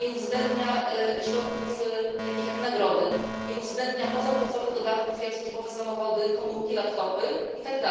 Nie uwzględnia środków takich jak nagrody, nie uwzględnia pozapłacowych dodatków, jak służbowe samochody, komórki, laptopy itd.,